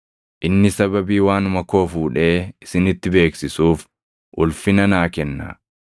Inni sababii waanuma koo fuudhee isinitti beeksisuuf ulfina naa kenna.